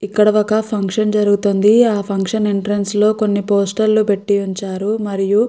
ఇక్కడ ఒక ఫంక్షన్ జరుగుతుంది ఆ ఫంక్షన్ ఎంట్రన్స్ లో కొన్ని పోస్టర్ లు పెట్టి ఉంచారు.